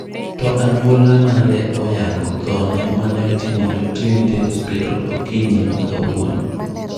To anyuola mare oyango thoone maneotimore Trinity Hospital Okinyi makawuono.